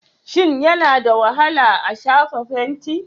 Shin yana da wahala a shafa fenti?